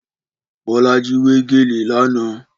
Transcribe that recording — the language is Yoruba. Bọ́lájí wé gèlè lánàá.